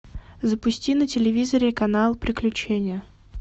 запусти на телевизоре канал приключения